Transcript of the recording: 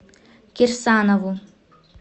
кирсанову